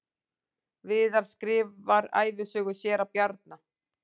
Viðar skrifar ævisögu séra Bjarna